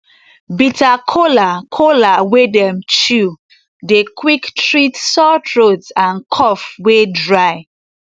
bitter kola kola wey dem chew dey quick treat sore throat and cough wey dry